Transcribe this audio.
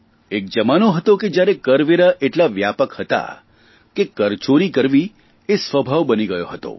એક જમાનો હતો કે જયારે કરવેરા એટલા વ્યાપક હતા કે કરચોરી કરવી એ સ્વભાવ બની ગયો હતો